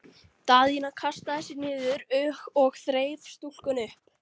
Daðína kastaði sér niður og þreif stúlkuna upp.